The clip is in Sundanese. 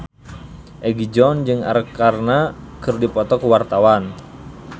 Egi John jeung Arkarna keur dipoto ku wartawan